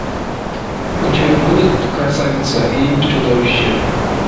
у тебя будет красавица и чудовище